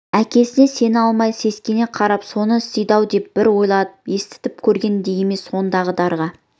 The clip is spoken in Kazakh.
әкесіне сене алмай сескене қарап соны істейді-ау деп бір ойлады естіп көрген де емес сондықтан дарға